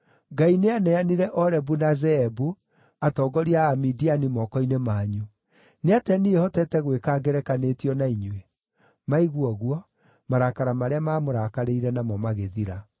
Ngai nĩaneanire Orebu na Zeebu, atongoria a Amidiani moko-inĩ manyu. Nĩatĩa niĩ hotete gwĩka ngerekanĩtio na inyuĩ?” Maigua ũguo, marakara marĩa maamũrakarĩire namo magĩthira.